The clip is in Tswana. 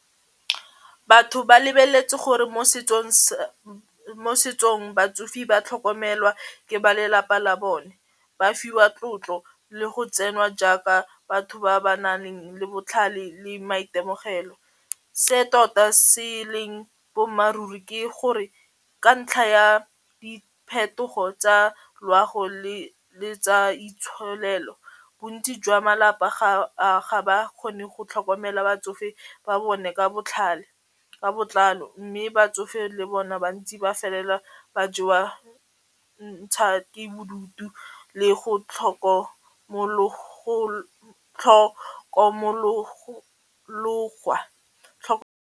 Batho ba lebeletse gore mo setsong sa mo setsong batsofe ba tlhokomelwa ke ba lelapa la bone ba fiwa tlotlo le go tsenwa jaaka batho ba ba nang le botlhale le maitemogelo, se tota se e leng bommaaruri ke gore ka ntlha ya diphetogo tsa loago le tsa itsholelo bontsi jwa malapa ga ba kgone go tlhokomela batsofe ba bone ka botlhale, ka botlalo mme batsofe le bona bantsi ba felela ba jewa ntsha ke bodutu le go .